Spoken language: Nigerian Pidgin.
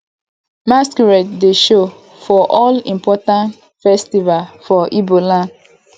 masqurade dey show for all important festival for ibo land